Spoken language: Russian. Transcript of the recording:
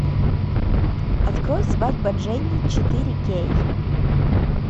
открой свадьба дженни четыре кей